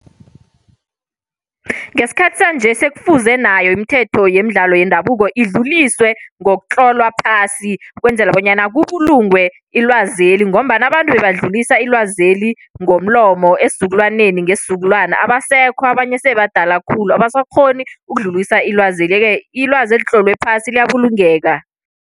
Ngesikhathi sanje sekufuze nayo imithetho yemidlalo yendabuko idluliselwe ngokutlolwa phasi. Ukwenzela bonyana kubulungwe ilwazeli ngombana abantu badlulise ilwazeli ngomlomo esizukulwaneni ngesizukulwana, abasekho abanye sebabadala khulu abasakghoni ukudlulisa ilwazeli, yeke-ke ilwazi elitlolwe phasi liyabulungeka.